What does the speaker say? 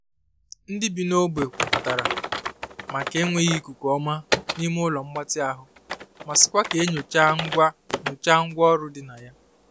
Ndị bi n’ogbe kwuputere maka enweghị ikuku ọma n'ime ụlọ mgbatị ahụ ma sịkwa ka e nyochaa ngwa nyochaa ngwa ọrụ di na ya.